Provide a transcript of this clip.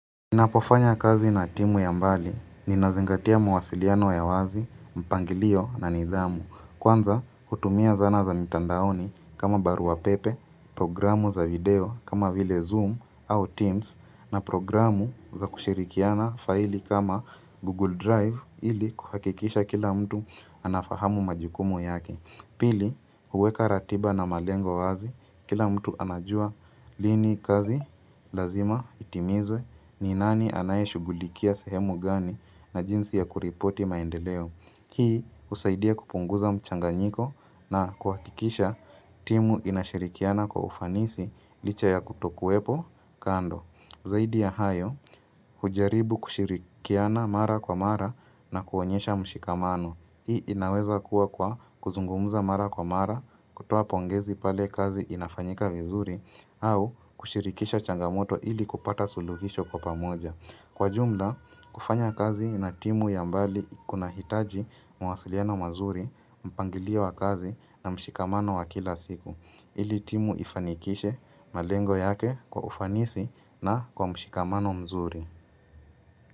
Ninapofanya kazi na timu ya mbali, ninazingatia mawasiliano ya wazi, mpangilio na nidhamu. Kwanza, hutumia zana za mitandaoni kama barua pepe, programu za video kama vile Zoom au Teams na programu za kushirikiana faili kama Google Drive ili kuhakikisha kila mtu anafahamu majukumu yake. Pili, huweka ratiba na malengo wazi, kila mtu anajua lini kazi lazima itimizwe ni nani anayeshugulikia sehemu gani na jinsi ya kuripoti maendeleo. Hii usaidia kupunguza mchanganyiko na kuhakikisha timu inashirikiana kwa ufanisi licha ya kutokuwepo kando. Zaidi ya hayo, hujaribu kushirikiana mara kwa mara na kuonyesha mshikamano. Hii inaweza kuwa kwa kuzungumuza mara kwa mara, kutoa pongezi pale kazi inafanyika vizuri, au kushirikisha changamoto ili kupata suluhisho kwa pamoja. Kwa jumla, kufanya kazi na timu ya mbali kunahitaji mwasiliano mazuri, mpangilio wa kazi na mshikamano wa kila siku. Ili timu ifanikishe malengo yake kwa ufanisi na kwa mshikamano mzuri.